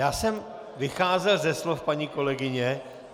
Já jsem vycházel ze slov paní kolegyně.